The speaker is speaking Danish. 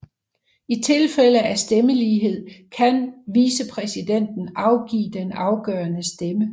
I tilfælde af stemmelighed kan vicepræsidenten afgive den afgørende stemme